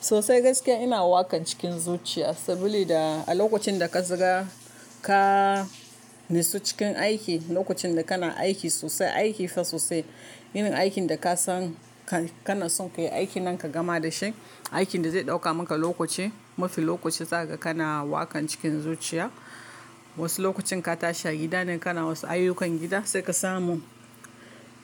Sosai gaskiya ina waƙan cikin zuciya saboda a lokacin da ka zaga ka nastsu cikin aiki, lokacin da kana aiki sosai, aiki fa sosai, yin aikin da ka san ka na son ka yi aiki nan ka gama da shi. Aikin da zai ɗauka maka lokaci, mafi lokaci zaga kana waƙan cikin zuciya. Wasu lokacin ka tashi a gida ne kana wasu ayyukan gida sai ka samu.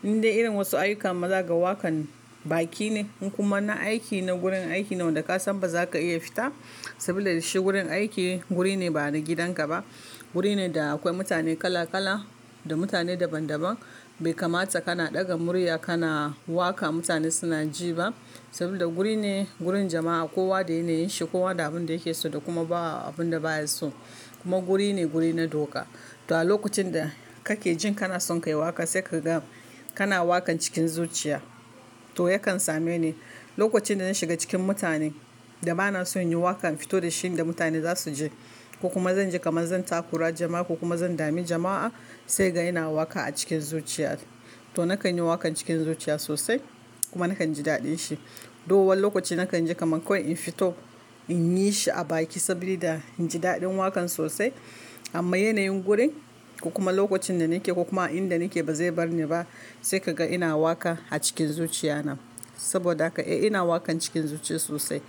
Inda irin wasu ayyukan maza ga waƙan baki ne in kuma na aiki na gurin aiki ne wanda ka san ba za ka iya fita saboda da shi gurin aiki guri ne ba na gidanka ba. Guri ne da akwai mutane kala kala da mutane daban daban. Bai kamata kana ɗaga murya kana waƙa mutane suna ji ba. Saboda guri ne, gurin jama'a kowa da yana yin shi, kowa da abin da yake so da kuma ba abin da baya so. Kuma guri ne guri na doka. To a lokacin da kake jin kana son ka yi waƙa sai ka ga kana waƙan cikin zuciya. To yakan same ni lokacin da zan shiga cikin mutanen da ba na son yin waƙa, in fito da shin da mutane za su ji ko kuma zan ji kamar zan takura jama'a ko kuma zan dame jama'a. Sai kaga ina waƙa a cikin zuciya. To na kan yi waƙan cikin zuciya sosai. Kuma na kan ji daɗin shi. To wani lokoci na kan ji kamar kawai in fito in yi shi a baki saboda in ji daɗin waƙan sosai. Amma yanayin gurin ko kuma lokacin da nake ko kuma inda nake ba zai bar ni ba. Sai ka ga ina waƙa a cikin zuciya nan. Saboda haka eh ina waƙan cikin zuciya sosai.